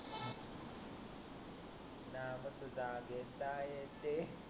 नाव तुझा घेता येते